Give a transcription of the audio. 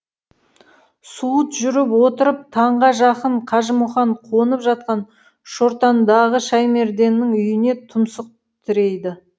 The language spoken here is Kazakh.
суыт жүріп отырып таңға жақын қажымұқан қонып жатқан шортандағы шаймерденнің үйіне тұмсық тірейді